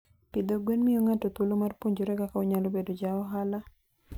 Pidho gwen miyo ng'ato thuolo mar puonjore kaka onyalo bedo ja ohala.